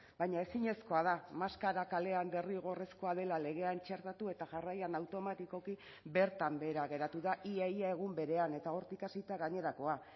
baina ezinezkoa da maskara kalean derrigorrezkoa dela legean txertatu eta jarraian automatikoki bertan behera geratu da ia ia egun berean eta hortik hasita gainerakoa